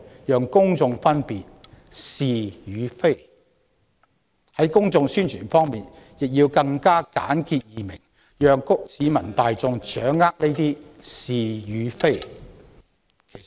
有關的公眾宣傳亦應簡潔易明，方便市民大眾掌握。